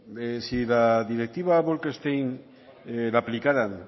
si la directiva bolkestein la aplicaran